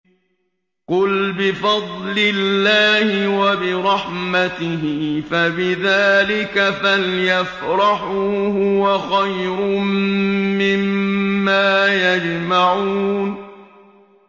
قُلْ بِفَضْلِ اللَّهِ وَبِرَحْمَتِهِ فَبِذَٰلِكَ فَلْيَفْرَحُوا هُوَ خَيْرٌ مِّمَّا يَجْمَعُونَ